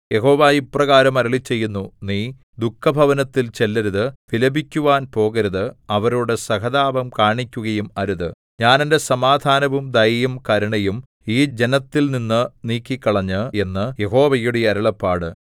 യഹോവ ഇപ്രകാരം അരുളിച്ചെയ്യുന്നു നീ ദുഃഖഭവനത്തിൽ ചെല്ലരുത് വിലപിക്കുവാൻ പോകരുത് അവരോടു സഹതാപം കാണിക്കുകയും അരുത് ഞാൻ എന്റെ സമാധാനവും ദയയും കരുണയും ഈ ജനത്തിൽനിന്നു നീക്കിക്കളഞ്ഞു എന്ന് യഹോവയുടെ അരുളപ്പാട്